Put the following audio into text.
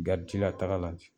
taga la ten